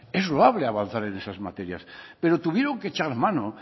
es loable avanzar en esas materias pero tuvieron que echar mano